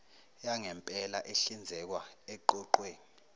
yangempela ehlinzekwa eqoqweni